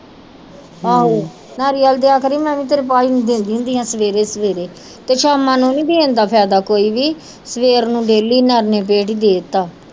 ਨਾਰੀਅਲ ਦਿਆ ਕਰੀ ਮੈ ਵੀ ਤੇਰੇ ਭਾਜੀ ਨੂੰ ਦਿੰਦੀ ਹੁੰਦੀ ਹਾਂ ਸਵੇਰੇ ਸਵੇਰੇ ਤੇ ਸ਼ਾਮਾਂ ਨੂੰ ਨਹੀਂ ਦੇਣ ਦਾ ਫਾਇਦਾ ਕੋਈ ਵੀ ਸਵੇਰ ਨੂੰ ਡੈਲੀ ਨਿਰਣੇ ਪੇਟ ਹੀ ਦੇਤਾ।